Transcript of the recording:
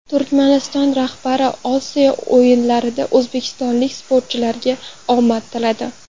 Turkmaniston rahbari Osiyo o‘yinlarida o‘zbekistonlik sportchilarga omad tiladi.